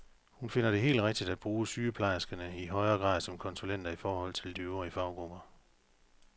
Hun finder det helt rigtigt at bruge sygeplejerskerne i højere grad som konsulenter i forhold til de øvrige faggrupper.